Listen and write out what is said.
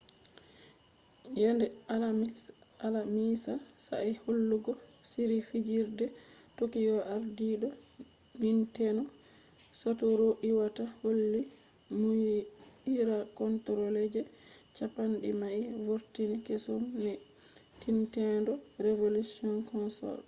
yende alamisa sa'a hollugo shiri fijirde tokyo ardiido nintendo satoru iwata holli muuyira controller je campani mai vurtini kesum je nintendo revolution console